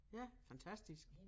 Ja fantastisk